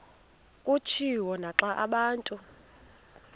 kutshiwo naxa abantu